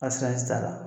t'a la